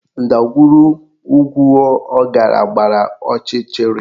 Ndagwurugwu ọ gara gbara ọchịchịrị